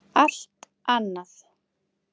Allt annað!